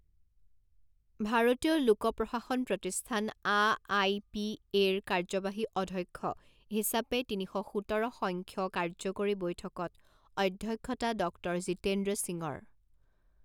ভাৰতীয় লোক প্ৰশাসন প্ৰতিষ্ঠান আ আই পি এ ৰ কাৰ্যবাহী অধ্যক্ষ হিচাপে তিনি শ সোতৰ সংখ্য কাৰ্যকৰী বৈঠকত অধ্যক্ষতা ডক্টৰ জিতেন্দ্ৰ সিঙৰ